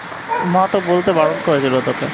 মা তো বলতে বারণ করেছিল তোকে